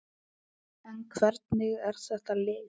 En hvernig er þetta lið?